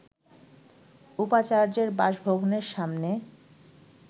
উপাচার্যের বাসভবনের সামনে